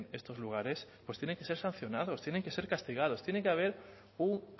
estos lugares pues tienen que ser sancionados tienen que ser castigados tiene que haber un